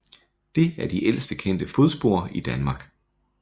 Det er de ældste kendte fodspor i Danmark